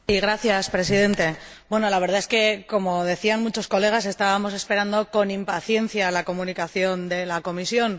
Señor Presidente, bueno, la verdad es que, como decían muchos colegas, estábamos esperando con impaciencia la Comunicación de la Comisión.